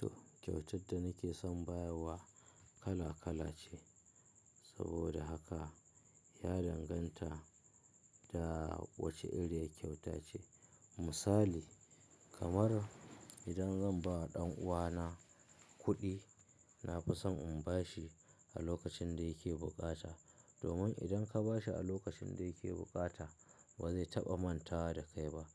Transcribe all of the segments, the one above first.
To, kyautar da nake son bayarwa kala-kala ce. Saboda haka ya danganta da wace area kyauta ce. Misali, kamar idan zan ba ɗan uwana kuɗi, na fi son in bashi a lokacin da yake bukata. Domin idan ka bashi a lokacin da yake bukata, bazai taba manta da kai ba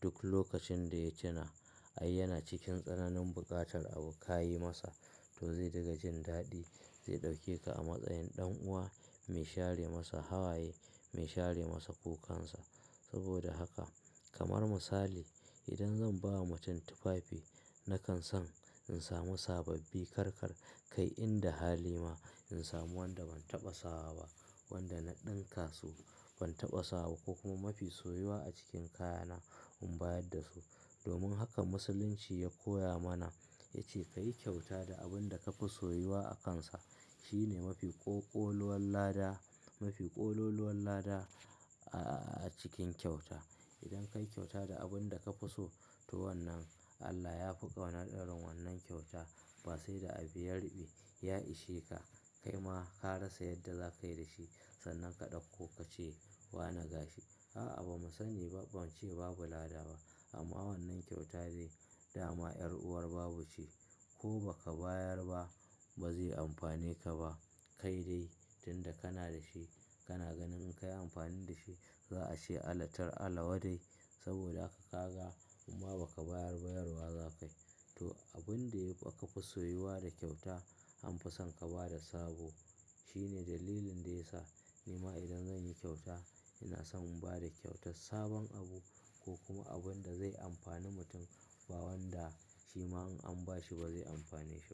duk lokacin daya tuna, ai yana cikin sannanin bukatar abu kayi masa to zai dinga jin dadi Zai ɗauke ka a matsayin ɗan'uwa mai share masa hawaye, mai share masa kukansa. Saboda haka, kamar misali idan zan ba ma mutum tufafi, nakan son in samu sababi karkar kai inda hali ma in samu wanda ban taba sawa wanda na dinka su ban taba sawa ko kuma mafia so a cikin kayana un bada su domin haka Musulunci ya koya mana, ya ce ka yi kyauta da abin da ka fi soyuwa a kansa. Shi ne mafi ƙoƙoluwan lada, mafi ƙololuwan lada, a cikin kyauta. Idan ka yi kyauta da abin da ka fi so, to wannan Allah ya fi ƙauna irin wannan kyauta ba sai da abu ya riɓe. Ya ishe ka, kai ma ka rasa yadda za ka yi da shi. Sannan ka ɗauko ka ce "wana gashi". A'a ba mu sani ba, ban ce babu lada ba. Amma wannan kyauta dai dama 'yar'uwar babu ce. Ko ba ka bayar ba, ba zai amfane ka ba. Kai dai tunda kana da shi, kana ganin in ka yi amfani da shi, za a ce allatar Allah wa dai? Saboda ka ga im ma ba ka bayar ba, yarwa za ka yi. To, abin da ka fi soyuwa da kyauta an fi son ka ba da sabo. Shi ne dalilin da ya sa ni ma idan zan yi kyauta, ina son in ba da kyautar sabon abu ko kuma abin da zai amfani mutum ba wanda shi ma in an bashi ba zai amfane shi ba.